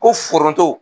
Ko foronto